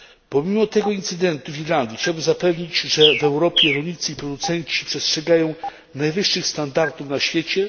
Pomimo tego incydentu w Irlandii chciałbym zapewnić, że w Europie rolnicy i producenci przestrzegają najwyższych standardów na świecie.